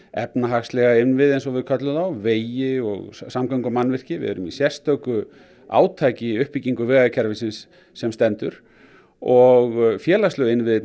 efnahagslega innviði eins og við köllum þá vegi og samgöngumannvirki við erum í sérstöku átaki í uppbyggingu vegakerfisins sem stendur og félagslegu innviðirnir